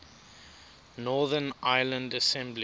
northern ireland assembly